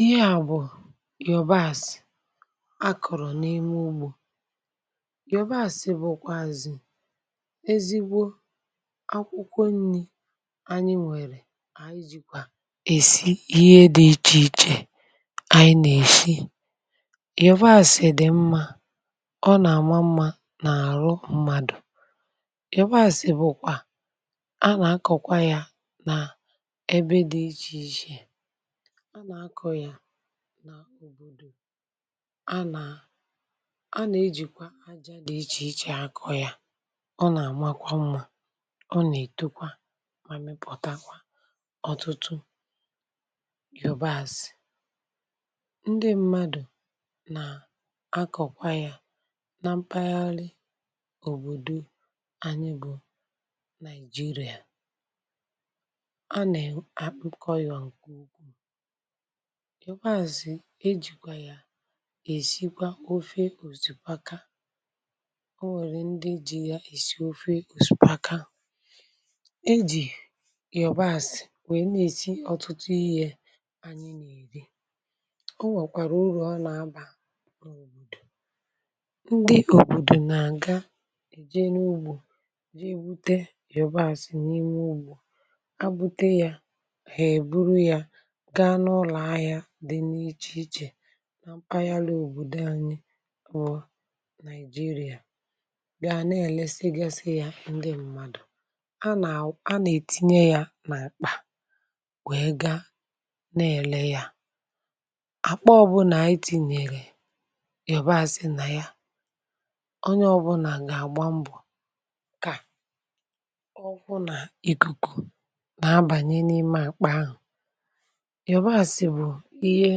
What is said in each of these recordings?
Ị́he à bụ̀ yòbàsị̀ a kụ̀rụ̀ n’ime Úgbȯ. Yòbásị̀ bụ̀kwàzị̀ ezígbo Ákwụ́kwọ́ nni̇ ànyị nwèrè ànyị jìkwà èsi ihe dị̇ ichè ichè anyị nà-èshi. Yòbàsị̀ dị̀ mmȧ, ọ nà-àma mmȧ n’àrụ mmadù yòbàsị̀ bụ̀kwà, a nà-akọ̀kwa yȧ nà ebe dị̇ ichè ichè. Á nà-akọ̀ yà n’òbòdò. Á nà a nà-ejìkwa aja dị̀ ichè ichè akọ̀ yà ọ nà-àmakwa mmȧ ọ nà-ètokwa mà mịpọ̀ta ọ̀tụtụ yòbasi. Ndị mmadù nà akọ̀kwa yà na mpaghara òbòdo anyị bụ̀ naijiria. Á nà akọ yà nkè úkwúù. Yòbasi éjìkwà yà èsikwa ofe òsìkpaka. Ọ́ nwèrè ndị ji̇ ya èsi ofe òsìkpaka. Éjì yọ̀ba esị̀ nwèe na-èsi ọtụtụ ihe anyi n’èrí. Ó nwèkwàrà urù ọnà abà n’òbòdò. Ndị òbòdò nà àga èje n’ugbò jė ègbute yọ̀bàsị n’ime ùgbò, há gbúté ya, hà è búrú yá gá n'úlọ̀ áhị́á dị n’iche ichè nà mpàghali òbòdo anyị wu nigeria bịa na-èlesigasė ya ndị mmadụ̀. Á nà-ètinye ya n’àkpà wee gaa na-èle ya. Àkpa ọbụnà anyị tìnyere yàbȧasị nà ya onye ọbụnà gà-àgba mbò kà ọ hụ nà ị̀kùkù nà abànye n’ime àkpà ahụ̀. Yòbasi bù íhé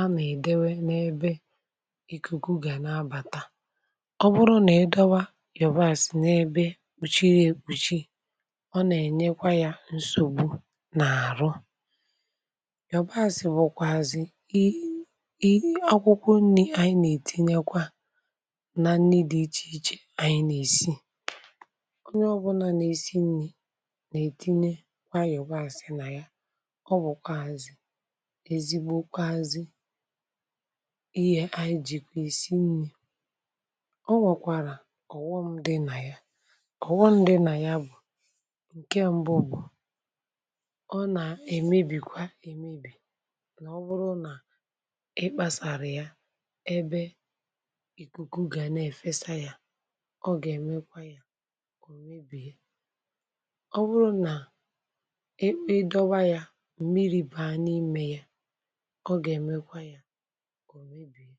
á nà èdéwé n'ébé ìkùkù gà ná ábàtá. Ọ́ bụrụ nà ídọ́wá Yòbasì n'ébé kpúchírí ekpùchí, ọ nà enyekwa ya nsogbu na arú. Yobásị̀ bụkwààzị̇ i i akwụkwọ nri ànyị nà-ètinye kwa na nni dị ichè ichè ànyị nà-èsi. Ónye ọbụlà nà-èsi nri̇ nà-ètinye kwaa yọ̀bààsị nà ya. Ọ bụkwazi ezigbokwazị ihe anyị jikwa esi nni. Ọ́ wọkwara ọ̀ghọ́m dị́ nà ya. Ọ̀ghọ́m dị nà ya bụ̀ ǹke mbụ bụ̀,(,pause) ọ nà-èmebì kwa emebì na ọ bụrụ nà ị kpàsàrà ya ébé ikuku gà na-efesa ya, ọ gà-èmekwa ya kà ò mebìe. Ọ́ bụrụ nà I dọ́wá yá, mmíri bàá n'íme yá, ọ ga èmékwa yá kà ọ mébìé.